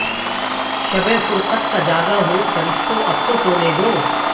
شب فرقت کا جاگا ہوں فرشتو اب تو سونے دو